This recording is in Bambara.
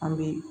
An bɛ